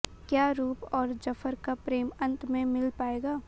क्या रूप और जफर का प्रेम अंत में मिल पाएगा